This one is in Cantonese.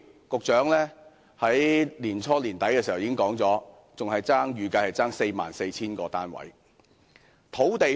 局長在去年年底已表示，預計尚欠44000個單位。